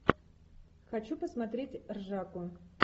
хочу посмотреть ржаку